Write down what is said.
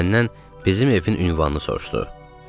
Məndən bizim evin ünvanını soruşdu.